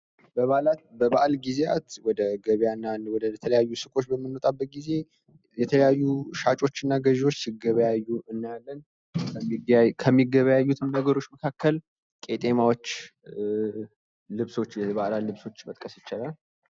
በበዓላት በበዓል ጊዜያት ወደ ገበያ እና ወደ ተለያዩ ሱቆች በምንወጣበት ጊዜ የተለያዩ ሻጮችና ገዢዎች ሲገበያዩ እናያለን ። ከሚገበያዩትም ነገሮች መካከልም ቄጤማዎች ፣ የበዓላት ልብሶች መጥቀስ ይቻላል።